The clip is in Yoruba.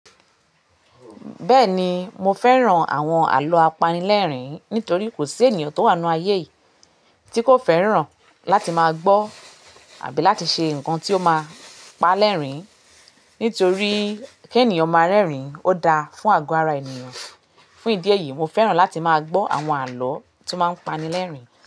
Bẹ́ẹ̀ni, mo fẹ́ran àwọn àlọ́ apanilẹ́rìn nítorí kò sí ènìyàn tó wà nínú ayé yìí tí kò fẹ́ràn láti máa gbọ́ àbí láti ṣe nǹkan tí ó máa pa lẹ́rìn nítorí k'énìyàn máa rẹ́rìn ó da fún àgọ́ ara ènìyàn. Fún ìdí èyí, mo fẹ́ràn láti máa gbọ́ àwọn àlọ́ tó máa ń pani lẹ́rìn.